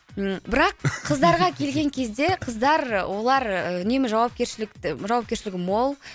м бірақ қыздарға келген кезде қыздар олар үнемі жауапкершілікті жауапкершілігі мол